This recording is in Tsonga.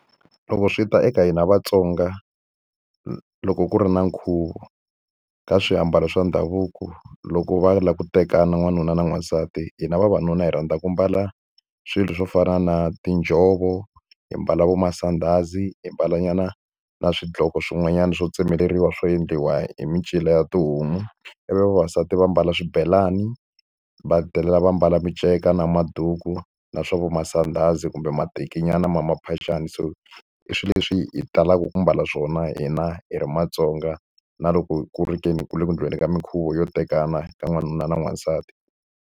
Loko swi ta eka hina Vasonga loko ku ri na nkhuvo, ka swiambalo swa ndhavuko loko va lava ku tekana n'wanuna na n'wansati, hina vavanuna hi rhandza ku ambala swilo swo fana na tinjhovo, hi mbala vo masandhazi, hi mbala nyana na swidloko swin'wanyana swo tsemeleriwa swo endliwa hi mincino ya tihomu. Ivi vavasati va ambala swibelani va hetelela va ambala miceka na maduku na swa vo masandhazi kumbe matekinyana ma maphaxani. So i swilo leswi hi talaka ku ambala swona hina hi ri maTsonga, na loko ku ri ke ni ku le ku endliweni ka minkhuvo yo tekana ka n'wanuna na n'wansati.